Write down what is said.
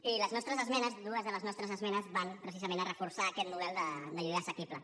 i les nostres esmenes dues de les nostres esmenes van precisament a reforçar aquest model de lloguer assequible